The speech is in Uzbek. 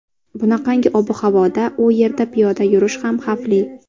Bunaqangi ob-havoda u yerda piyoda yurish ham xavfli.